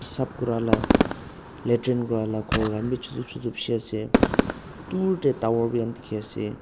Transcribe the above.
sap kurala latrin Kura la khor khan bi chutu chutu bishi ase duurtae tower dikhiase.